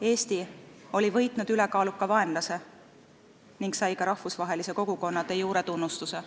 Eesti oli võitnud ülekaaluka vaenlase ning sai ka rahvusvahelise kogukonna de jure tunnustuse.